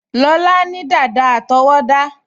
Lọlá ní dàda àtọwọ́dá